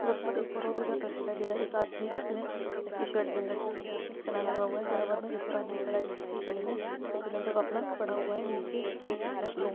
सड़क पर एक और ऑटो जाता दिखाई दे रहा है। एक आदमी जिसने चेक की शर्ट पहन रखी है उसके हाथ में चालान लगा हुआ है बराबर में एक और आदमी खड़ा है जिस के गले में सफेद रंग का कपड़ा पड़ा हुआ है नीचे की